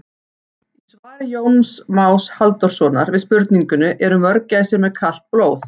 Í svari Jóns Más Halldórssonar við spurningunni Eru mörgæsir með kalt blóð?